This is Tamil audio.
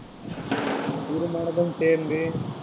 மனதும் சேர்ந்து